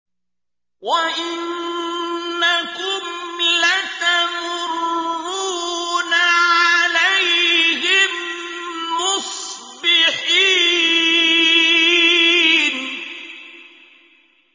وَإِنَّكُمْ لَتَمُرُّونَ عَلَيْهِم مُّصْبِحِينَ